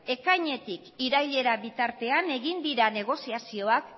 ekainetik irailera bitartean egin dira negoziazioak